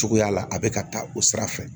Cogoya la a bɛ ka taa o sira fɛ